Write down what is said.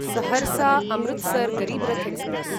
Saharsa Amritsar Garib Rath express